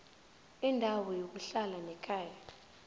indawo yokuhlala nekhaya